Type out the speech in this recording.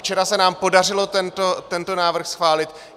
Včera se nám podařilo tento návrh schválit.